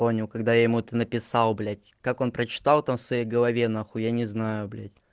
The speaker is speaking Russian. понял когда я ему это написал блять как он прочитал там в своей голове нахуй я не знаю блять